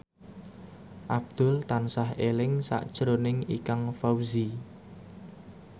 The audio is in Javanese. Abdul tansah eling sakjroning Ikang Fawzi